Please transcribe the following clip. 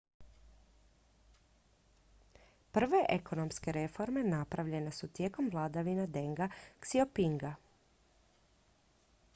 prve ekonomske reforme napravljene su tijekom vladavine denga xiaopinga